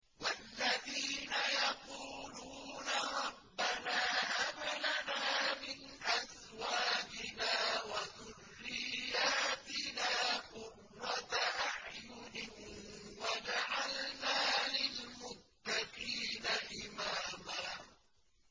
وَالَّذِينَ يَقُولُونَ رَبَّنَا هَبْ لَنَا مِنْ أَزْوَاجِنَا وَذُرِّيَّاتِنَا قُرَّةَ أَعْيُنٍ وَاجْعَلْنَا لِلْمُتَّقِينَ إِمَامًا